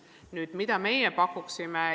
Nüüd, mida meie pakuksime?